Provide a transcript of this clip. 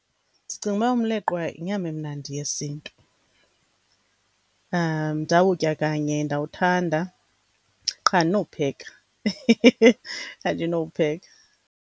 Ndicinga uba umleqwa yinyama emnandi yesintu. Ndawutya kanye ndawuthanda qha andinowupheka andinowupheka.